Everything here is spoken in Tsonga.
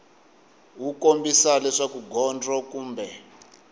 wu kombisa leswaku gondzo kumbe